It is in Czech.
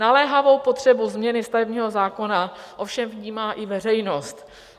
Naléhavou potřebu změny stavebního zákona ovšem vnímá i veřejnost.